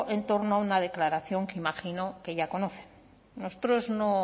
en torno a una declaración que imagino que ya conoce nosotros no